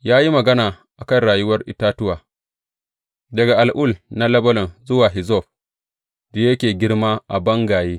Ya yi magana a kan rayuwar itatuwa, daga al’ul na Lebanon zuwa hizzob da yake girma a bangaye.